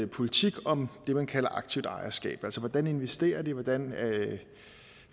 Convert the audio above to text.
politik om det man kalder aktivt ejerskab altså hvordan de investerer hvordan de